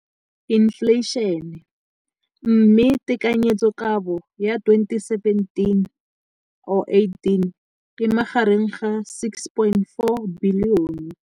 Infleišene, mme tekanyetsokabo ya 2017 or 18 e magareng ga 6.4 bilione.